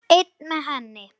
Einn með henni.